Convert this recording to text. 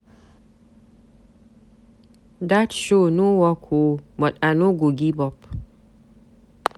Dat show no work oo but I no go give up.